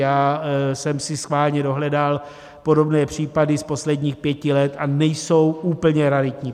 Já jsem si schválně dohledal podobné případy z posledních pěti let a nejsou úplně raritní.